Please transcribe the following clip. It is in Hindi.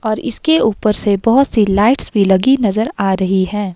और इसके ऊपर से बहुत सी लाइट्स भी लगी नजर आ रही है।